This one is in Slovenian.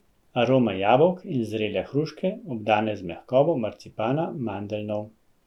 Arome jabolk in zrele hruške, obdane z mehkobo marcipana, mandeljnov.